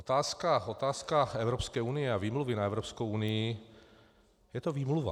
Otázka Evropské unie a výmluvy na Evropskou unii, je to výmluva.